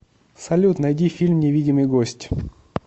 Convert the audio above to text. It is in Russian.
салют найди фильм невидимый гость